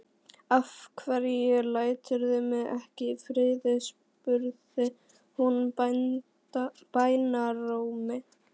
Af hverju læturðu mig ekki í friði? spurði hún bænarrómi.